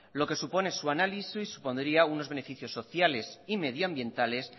lo que supone su análisis supondría unos beneficios sociales y medioambientales